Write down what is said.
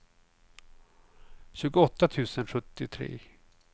tjugoåtta tusen sjuttiotre